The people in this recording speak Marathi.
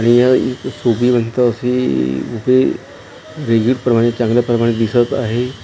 आणि या इथे शोभिवंत असे इथे बुके रिजिडप्रमाणे चांगल्या प्रमाणे दिसत आहे .